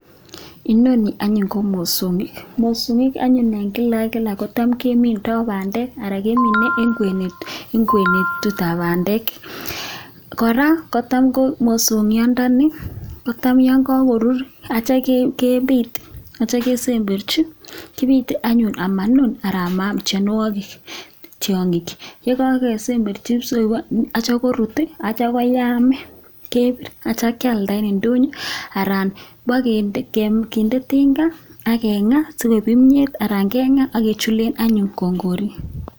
Inoni anyun ko mosongik, mosongiik anyun eng kila ak kila kotam kemindoi bandek anan kemine eng kwenutikab bandek. Kora, kotam ko mosongiondoni kotam yon kakoruur atyo kepit atyo kesemberchi, kipite anyun amanun anan maam tiongik. Ye kakesemberchi atyo koruut atyo koyam kepiir atyo kealda eng indonyo anan ipkinde tinga ak ipkengaa sikoip kimnyet anan kengaa akechule anyun kongoriik.